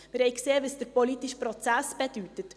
Wir haben gesehen, was der politische Prozess bedeutet.